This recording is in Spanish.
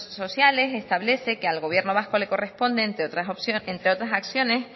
sociales establece que al gobierno vasco le corresponde entre otras acciones